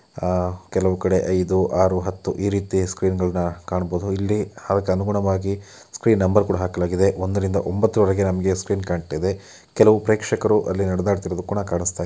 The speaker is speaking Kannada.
ಕೆಲವು ಕಡೆ ಐದು ಆರು ಹತ್ತು ಈ ರೀತಿ ಸ್ಕ್ರೀನ್ ಗಳನ್ನ ಕಾಣಬಹುದು .ಇಲ್ಲಿ ಅದಕ್ಕೆ ಅನುಗುಣವಾಗಿ ಸ್ಕ್ರೀನ್ ನಂಬರ್ ಗಳನ್ನೂ ಕೂಡ ಹಾಕಲಾಗಿದೆ ಒಂದ ರಿಂದ ಒಂಬತ್ತರೊಳಗೆ ನಮಗೆ ಸ್ಕ್ರೀನ್ ಕಾಣತಾಯಿದೆ ಕೆಲವು ಪ್ರೇಕ್ಷಕರು ಅಲ್ಲಿ ನಾಡಿದಾಡತಿರೋದು ಕೂಡ ಕಾಣಸ್ತಾಯಿದೆ.